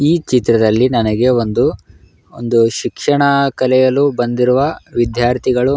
ಈ ಚಿತ್ರದಲ್ಲಿ ನನಗೆ ಒಂದು ಒಂದು ಶಿಕ್ಷಣ ಕಲಿಯಲು ಬಂದಿರುವ ವಿದ್ಯಾರ್ಥಿಗಳು --